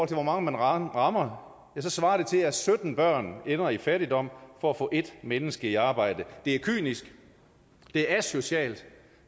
til hvor mange man rammer svarer det til at sytten børn ender i fattigdom for at få en menneske i arbejde det er kynisk det er asocialt